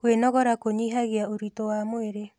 Kwĩnogora kũnyihagia ũritũ wa mwĩrĩ